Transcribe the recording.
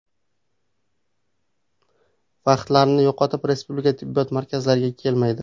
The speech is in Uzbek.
Vaqtlarini yo‘qotib respublika tibbiyot markazlariga kelmaydi.